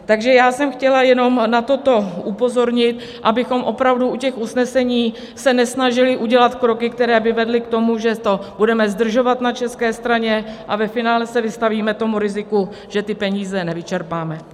Takže já jsem chtěl jenom na toto upozornit, abychom opravdu u těch usnesení se nesnažili udělat kroky, které by vedly k tomu, že to budeme zdržovat na české straně a ve finále se vystavíme tomu riziku, že ty peníze nevyčerpáme.